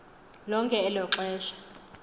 lonke elo xesha